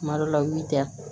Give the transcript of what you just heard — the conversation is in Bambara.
Kuma dɔ la u y'i ja